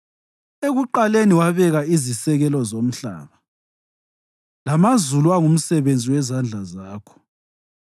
Ekuqaleni wabeka izisekelo zomhlaba, lamazulu angumsebenzi wezandla zakho.